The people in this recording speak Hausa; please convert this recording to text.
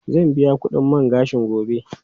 Zan biya kudin man gashin gobe.